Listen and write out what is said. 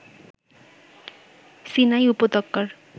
Sinai উপত্যকার